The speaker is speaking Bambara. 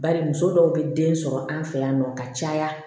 Bari muso dɔw bɛ den sɔrɔ an fɛ yan nɔ ka caya